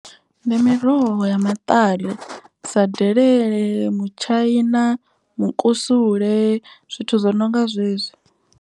Ndi miroho ya maṱari sa delele, mutshaina, mukusule zwithu zwo no nga zwezwi.